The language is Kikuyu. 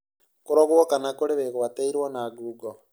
Kũrorwo kana kũrĩ wĩgwatĩirwo na ngungo